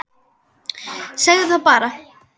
Segðu það bara!